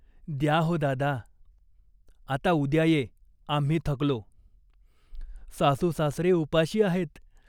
द्या हो दादा." "आता उद्या ये. आम्ही थकलो." "सासूसासरे उपाशी आहेत.